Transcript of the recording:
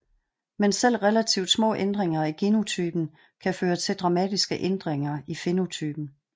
Men selv relativt små ændringer i genotypen kan føre til dramatiske ændringer i fænotypen